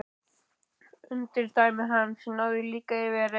Umdæmi hans náði líka yfir Reyðarfjörð.